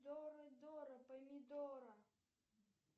дора дора помидора